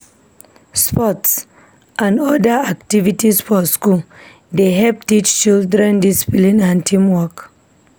Sports n other activities for school dey help teach children discipline and teamwork